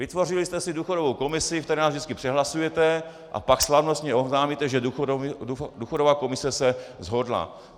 Vytvořili jste si důchodovou komisi, ve které nás vždycky přehlasujete, a pak slavnostně oznámíte, že důchodová komise se shodla.